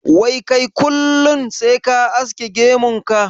Wai kai kullin sai ka aske gemun ka?